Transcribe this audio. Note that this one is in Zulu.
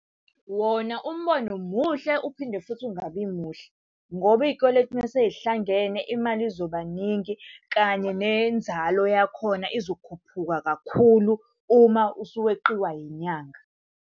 Wona umbono muhle uphinde futhi ungabi muhle, ngoba iy'kweletu uma sey'hlangene imali izoba ningi kanye nenzalo yakhona izokhuphuka kakhulu uma usuweqiwa yinyanga.